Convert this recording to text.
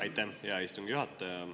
Aitäh, hea istungi juhataja!